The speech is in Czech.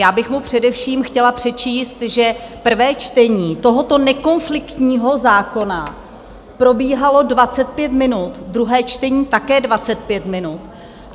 Já bych mu především chtěla přečíst, že prvé čtení tohoto nekonfliktního zákona probíhalo 25 minut, druhé čtení také 25 minut.